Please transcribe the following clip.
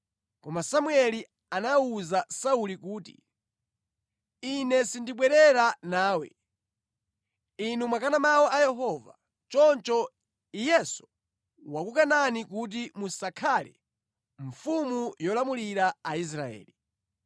Koma Samueli anawuza Sauli kuti, “Ine sindibwerera nawe. Inu mwakana mawu a Yehova. Choncho Iyenso wakukanani kuti musakhale mfumu yolamulira Aisraeli.”